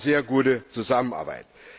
Das war eine sehr gute Zusammenarbeit.